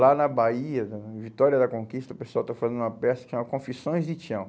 Lá na Bahia né, em Vitória da Conquista, o pessoal está fazendo uma peça que chama Confissões de Tião.